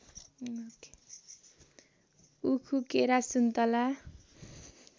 उखु केरा सुन्तला